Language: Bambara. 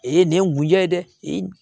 E ye nin ya ye dɛ i